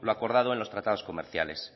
lo acordado en los tratados comerciales